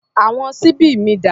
Àwọn ṣíbí mi dà?